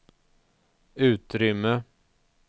utrymme